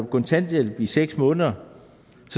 kontanthjælp i seks måneder